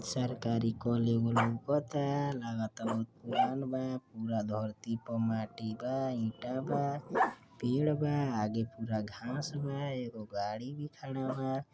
सरकारी कल एगो लउकता लागता बहुत पुरान बा पुरा धरती पे माटी बा ईटा बा पेड़ बा आगे पुरा घांस बा एगो गाड़ी भी खड़ा बा।